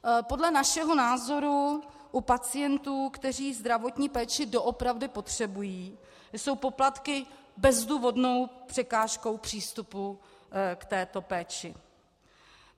Podle našeho názoru u pacientů, kteří zdravotní péči doopravdy potřebují, jsou poplatky bezdůvodnou překážkou přístupu k této péči.